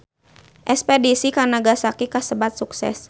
Espedisi ka Nagasaki kasebat sukses